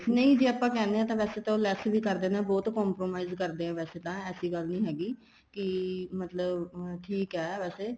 ਨਹੀਂ ਜ਼ੇ ਆਪਾਂ ਕਹਿਣੇ ਆ ਤਾਂ ਵੈਸੇ ਤਾਂ ਉਹ less ਵੀ ਕਰ ਦਿੰਨੇ ਏ ਬਹੁਤ compromise ਕਰਦੇ ਏ ਵੈਸੇ ਤਾਂ ਐਸੀ ਗੱਲ ਨਹੀਂ ਹੈਗੀ ਕੀ ਮਤਲਬ ਠੀਕ ਏ ਵੈਸੇ